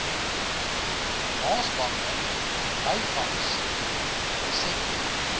maasbanker byvangs resetwe